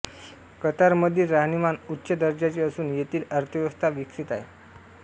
कतारमधील राहणीमान उच्च दर्जाचे असून येथील अर्थव्यवस्था विकसित आहे